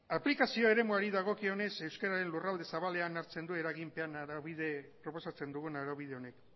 aplikazio eremuari dagokionez euskararen lurralde zabalean hartzen du proposatzen dugun araubide honek